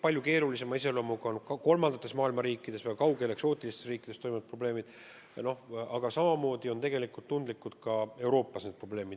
Eriti keerulise iseloomuga on kolmanda maailma riikides, väga kaugel eksootilistes riikides toimunud probleemid, aga samamoodi on tundlikud ka Euroopa probleemid.